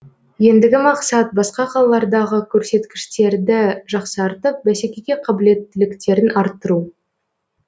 ендігі мақсат басқа қалалардағы көрсеткіштерді жақсартып бәсекеге қабілеттіліктерін арттыру